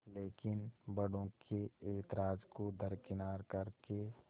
लेकिन बड़ों के ऐतराज़ को दरकिनार कर के